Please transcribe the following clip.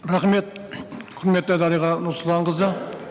рахмет құрметті дариға нұрсұлтанқызы